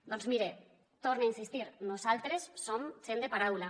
doncs mire hi torne a insistir nosaltres som gent de paraula